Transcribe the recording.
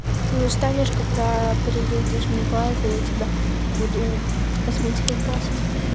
ты устанешь когда приедешь в николаев я тебя буду косметикой красить